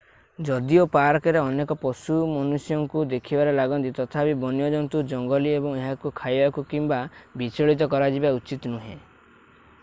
ଯଦିଓ ପାର୍କରେ ଅନେକ ପଶୁ ମନୁଷ୍ୟଙ୍କୁ ଦେଖିବାରେ ଲାଗନ୍ତି ତଥାପି ବନ୍ୟଜନ୍ତୁ ଜଙ୍ଗଲୀ ଏବଂ ଏହାକୁ ଖାଇବାକୁ କିମ୍ବା ବିଚଳିତ କରାଯିବା ଉଚିତ୍ ନୁହେଁ